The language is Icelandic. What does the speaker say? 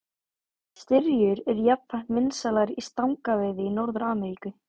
Styrjur eru jafnframt vinsælar í stangaveiði í Norður-Ameríku.